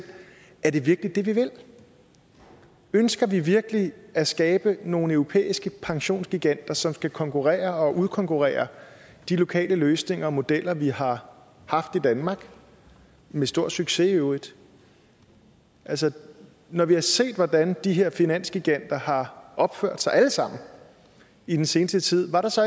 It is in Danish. er det virkelig det vi vil ønsker vi virkelig at skabe nogle europæiske pensionsgiganter som skal konkurrere og udkonkurrere de lokale løsninger og modeller vi har haft i danmark med stor succes i øvrigt altså når vi har set hvordan de her finansgiganter har opført sig alle sammen i den seneste tid er der så